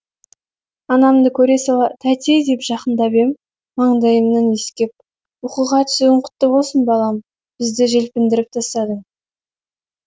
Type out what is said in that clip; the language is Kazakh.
анамды көре сала тәте деп жақындап ем маңдайымнан иіскеп оқуға түсуің құтты болсын балам бізді желпіндіріп тастадың